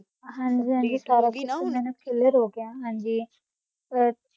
ਗਾ ਸੀ ਹਨ ਜੀ ਸਾਰਾ ਕੁਛ ਮੇਨੋ ਕਲੇਅਰ ਹੋ ਗਯਾ ਆ ਏਹਾ